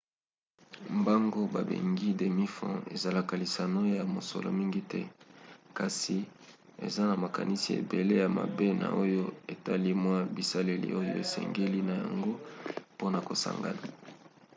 mbango babengi demi-fond ezalaka lisano ya mosolo mingi te; kasi eza na makanisi ebele ya mabe na oyo etali mwa bisaleli oyo osengeli na yango mpona kosangana